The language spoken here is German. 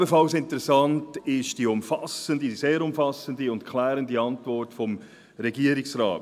Ebenfalls interessant ist die umfassende, sehr umfassende und klärende Antwort des Regierungsrates.